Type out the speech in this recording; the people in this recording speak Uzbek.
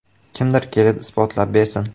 Kimdir kelib isbotlab bersin.